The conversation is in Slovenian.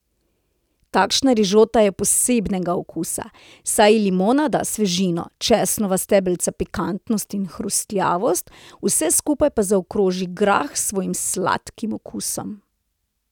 Takšna rižota je posebnega okusa, saj ji limona da svežino, česnova stebelca pikantnost in hrustljavost, vse skupaj pa zaokroži grah s svojim sladkim okusom.